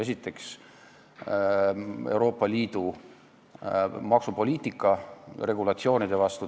Esiteks rikub ta Euroopa Liidu maksupoliitika regulatsioone.